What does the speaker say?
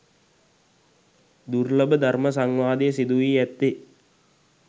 දුර්ලභ ධර්ම සංවාදය සිදුවී ඇත්තේ